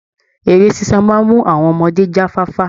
Eré ṣíṣe maa ń mú àwọn ọmọdé jáfáfa